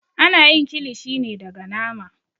Ana yin kilishi ne daga nama.